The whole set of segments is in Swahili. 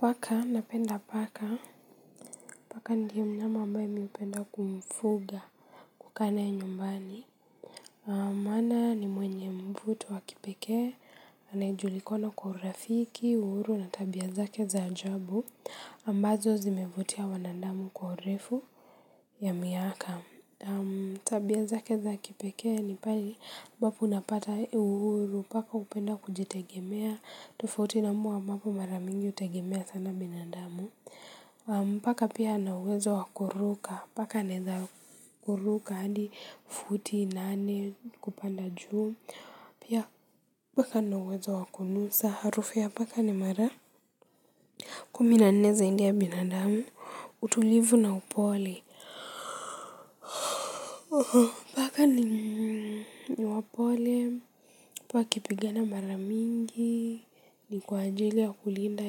Paka napenda paka paka ndiye mnyama ambaye mimi hupenda kumfuga kukaa naye nyumbani maana ni mwenye mvuto wa kipekee anayejulikoana kwa urafiki uhuru na tabia zake za ajabu ambazo zimevutia wanadamu kwa urefu ya miaka tabia zake za kipekee ni pale ambapo unapata uhuru paka hupenda kujitegemea tofauti na mbwa ambapo mara mingi hutegemea sana binandamu paka pia ana uwezo wa kuruka paka anaweza kuruka hadi futi nane kupanda juu pia paka ana uwezo wa kunusa harufu ya paka ni mara kumi na nne zaidi ya binadamu utulivu na upole paka ni wapole paka wakipigana mara mingi ni kwa ajili ya kulinda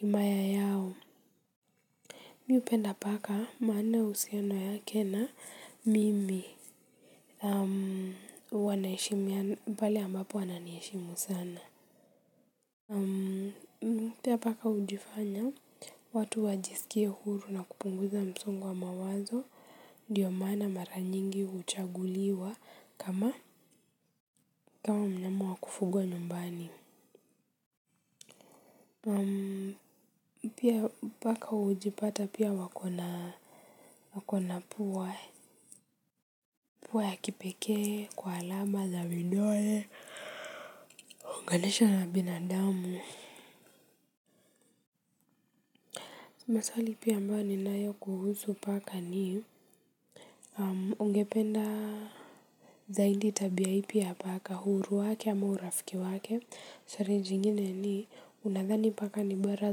himaya yao. Mmi hupenda paka maana uhusiano yake na mimi, huwa naheshimiana, pale ambapo ananiheshimu sana pia paka hujifanya watu wajiskie huru na kupunguza msongo wa mawazo ndio maana mara nyingi huchaguliwa kama mnyama wa kufugwa nyumbani pia paka hujipata pia wako na pua ya kipekee kwa alama za vidole. Kuongeleshwa na binadamu. Maswali pia ambayo ninayo kuhusu paka ni ungependa zaidi tabia ipi ya paka uhuru wake ama urafiki wake swali jingine ni unadhani paka ni bora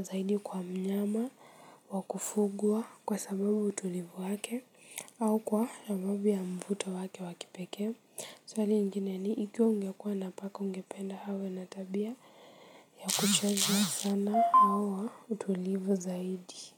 zaidi kwa mnyama wa kufugwa kwa sababu utulivu wake au kwa sababu ya mvuto wake wa kipekee swali ingine ni ikiwa ungekuwa na paka ungependa awe na tabia ya kuchaza sana au wa utulivu zaidi kwa hivyo.